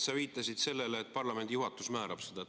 Sa viitasid sellele, et parlamendi juhatus määrab seda.